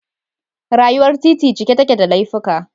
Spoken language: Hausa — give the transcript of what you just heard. Rayuwar titi cike take da laifuka